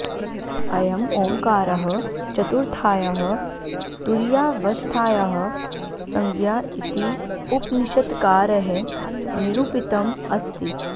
अयम् ओङ्कारः चतुर्थायाः तुरीयावस्थायाः संज्ञा इति उपनिषत्कारैः निरूपितम् अस्ति